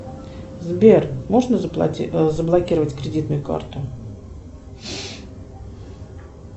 сбер можно заблокировать кредитную карту